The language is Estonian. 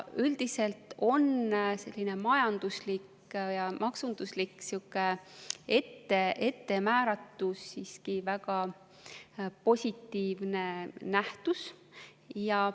Üldiselt on selline majanduslik ja maksunduslik ettemääratus siiski väga positiivne nähtus.